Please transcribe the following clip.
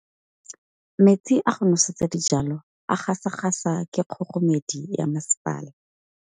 Metsi a go nosetsa dijalo a gasa gasa ke kgogomedi ya masepala.